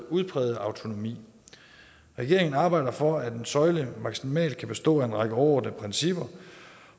udprægede autonomi regeringen arbejder for at en søjle maksimalt kan bestå af en række overordnede principper